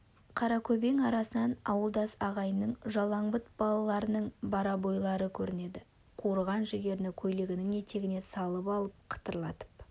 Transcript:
қаракөбең арасынан ауылдас ағайынның жалаң бұт балаларының борбайлары көрінеді қуырған жүгеріні көйлегінің етегіне салып алып қытырлатып